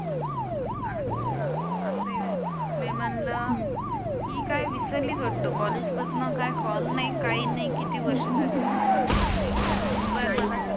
अच्छा असं आहे व्हय मी म्हणलं की काय विसरली वाटतं कॉलेज पसनं काय कॉल नाही काही नाही किती वर्ष झाली. इचा नंबर मला